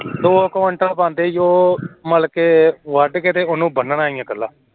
ਦੋ quintal ਬਣਦੇ ਈ ਏ ਮਿਲਕੇ ਬੰਨਕੇ ਵੱਢਣਾ ਈ ਐ ਓ